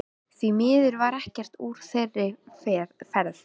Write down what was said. Því miður varð ekkert úr þeirri ferð.